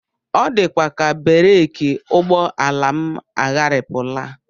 Ọ dịkwa ka bereki ụgbọala m agharịpụla